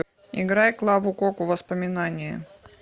играй клаву коку воспоминание